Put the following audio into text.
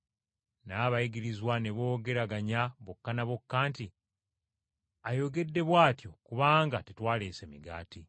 Naye Abayigirizwa ne boogeraganya bokka ne bokka nti, “Ayogedde bw’atyo kubanga tetwaleese migaati.”